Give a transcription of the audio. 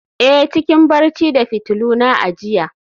a, cikin barci da fitiluna a jiya